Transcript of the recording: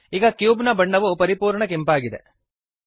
ಈಗ ಕ್ಯೂಬ್ ನ ಬಣ್ಣವು ಪರಿಪೂರ್ಣ ಕೆಂಪಾಗಿದೆ